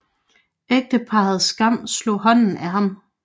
Ægteparret Skram slog hånden af ham